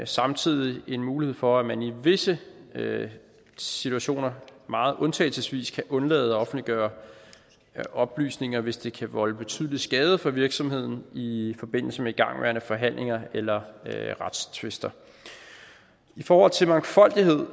samtidig en mulighed for at man i visse situationer meget undtagelsesvis kan undlade at offentliggøre oplysninger hvis det kan volde betydelig skade for virksomheden i forbindelse med igangværende forhandlinger eller retstvister i forhold til mangfoldighed